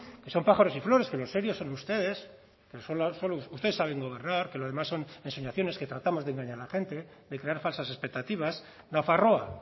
son pájaros y flores que los serios son ustedes solo ustedes saben gobernar que lo demás son ensoñaciones que tratamos de engañar a la gente de crear falsas expectativas nafarroa